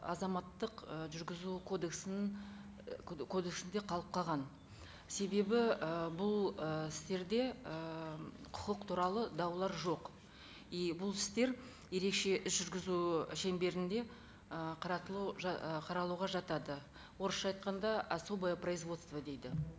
азаматтық ы жүргізу кодексінің ы кодексінде қалып қалған себебі і бұл ы істерде ііі құқық туралы даулар жоқ и бұл істер ерекше іс жүргізу шеңберінде қаратылу ы қаралуға жатады орысша айтқанда особое производство дейді